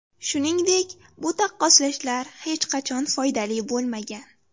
Shuningdek, bu taqqoslashlar hech qachon foydali bo‘lmagan.